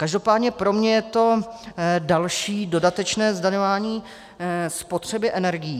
Každopádně pro mě je to další dodatečné zdaňování spotřeby energií.